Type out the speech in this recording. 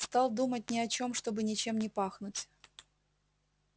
стал думать ни о чём чтобы ничем не пахнуть